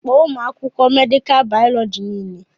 Kpọọ ụmụ akwụkwọ mèdịká mịkròbàyọlọjíi niile